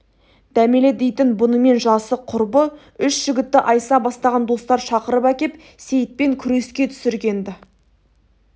дәмелі дейтін бұнымен жасы құрбы үш жігітті айса бастаған достар шақырып әкеп сейітпен күреске түсірген-ді